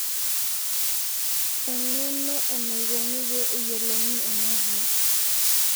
eng'eno enaikoni pee eyiolouni ena kias